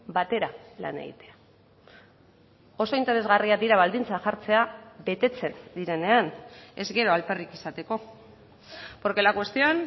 batera lan egitea oso interesgarriak dira baldintzak jartzea betetzen direnean ez gero alperrik izateko porque la cuestión